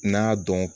N y'a dɔn